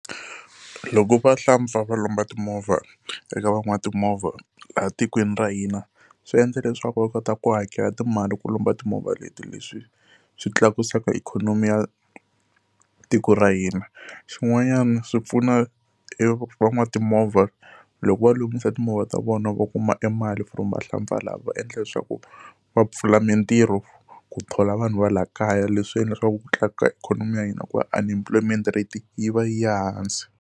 Loko vahlampfa va lomba timovha eka van'watimovha laha tikweni ra hina swi endla leswaku va kota ku hakela timali ku lomba timovha leti, leswi swi tlakusaka ikhonomi ya tiko ra hina. Xin'wanyana swi pfuna e van'watimovha loko va lunghisa timovha ta vona va kuma emali from vahlampfa lava va endla leswaku va pfula mitirho ku thola vanhu va laha kaya, leswi endla leswaku ku tlakuka ikhonomi ya hina hi ku va unemployment rate yi va yi hansi.